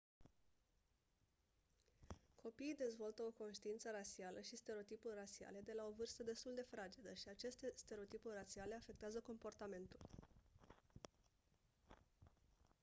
copiii dezvoltă o conștiință rasială și stereotipuri rasiale de la o vârstă destul de fragedă și aceste stereotipuri rasiale afectează comportamentul